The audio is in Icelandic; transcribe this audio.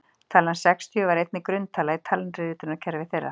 talan sextíu var einnig grunntala í talnaritunarkerfi þeirra